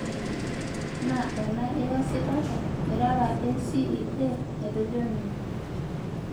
Naa ena iyasitata irara ACEA," Etejo ninye.